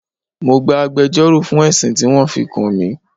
Mo gbà agbẹjoro fún ẹ̀sùn tí wọn fi kan mi.